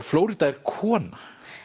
Flórída er kona